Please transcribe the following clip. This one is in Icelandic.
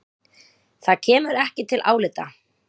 Það kemur ekki til álita.